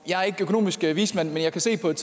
jeg er ikke økonomisk vismand men jeg kan se på et